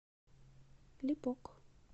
липок